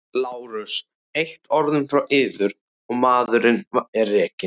LÁRUS: Eitt orð frá yður og maðurinn er rekinn!